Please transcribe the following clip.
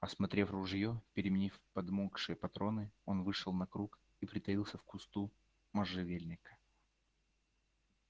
осмотрев ружье переменив подмокшие патроны он вышел на круг и притаился в кусту можжевельника